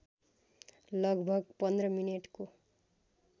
लगभग १५ मिनेटको